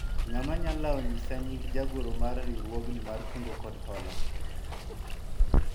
ng'ama nyalao nyisa nying jagoro mar riwruogni mar kungo kod hola ?